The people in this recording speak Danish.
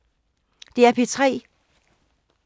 DR P3